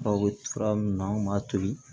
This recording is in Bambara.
Aw bɛ fura min na an b'a to yen